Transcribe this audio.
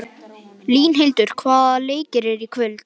Línhildur, hvaða leikir eru í kvöld?